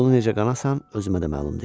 Bunu necə qanasan, özümə də məlum deyil.